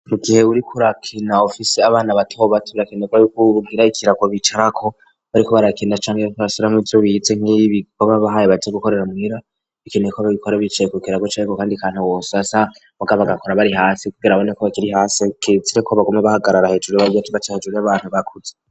Mu gihe buri kurakinaofise abana batobat rakenerwa yuko uwur ugiraikirako bicarako bariko barakenda canke batashoranko ivyo bihize nk'ibi bo babahaye baza gukorera mwera bikeneyeko abagikora bicaye kokeraguca, ariko, kandi kantu wosasa mugaba agakora bari hasi kugera abane ko bakiri hasi kesire ko bagomwe bahagarara hejuru barya kiba ca hejuru y'abantu bakuze.